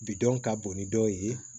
Bidɔn ka bon ni dɔw ye